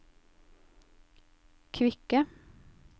kvikke